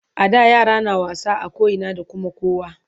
A da yara na wasa a koina da Kuma kowa